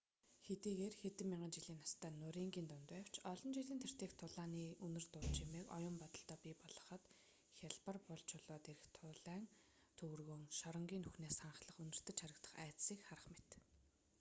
хэдийгээр хэдэн мянган жилийн настай нурингын дунд байвч олон жилийн тэртээх тулааны үнэр дуу чимээг оюун бодолдоо бий болгоход хялбар бул чулуун дээрх туурайн төвөргөөн шоронгийн нүхнээс ханхлан үнэртэж харагдах айдасыг харах мэт